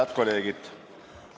Head kolleegid!